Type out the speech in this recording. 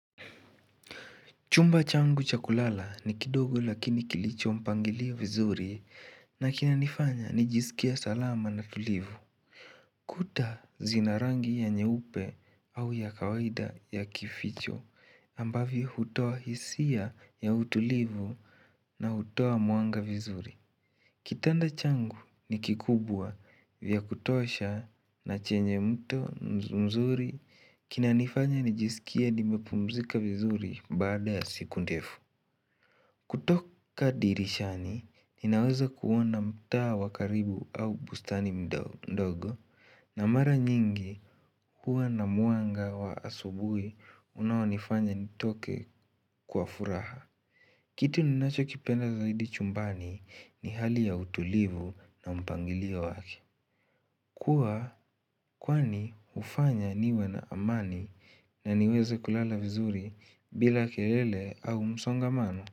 Chumba changu cha kulala ni kidogo lakini kilicho mpangilio vizuri na kinanifanya nijisikie salama na tulivu. Kuta zinanrangi ya nyeupe au ya kawaida ya kificho ambavyo hutoa hisia ya utulivu na hutoa mwanga vizuri. Kitanda changu ni kikubwa vya kutosha na chenye mto mzuri kina nifanya nijisikia nimepumzika vizuri baada siku ndefu. Kutoka dirishani, ninaweza kuona mtaa wa karibu au bustani mdogo na mara nyingi huwa na mwanga wa asubuhi unaonifanya nitoke kwa furaha. Kitu ninachokipenda zaidi chumbani ni hali ya utulivu na mpangilio wake. Kuwa kwani hufanya niwe na amani na niweze kulala vizuri bila kelele au msongamano.